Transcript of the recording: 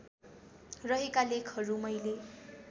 रहेका लेखहरू मैले